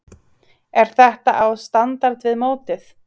Er þetta á standard við mótið?